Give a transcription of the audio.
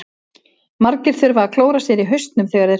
Margir þurfa að klóra sér í hausnum þegar þeir hugsa.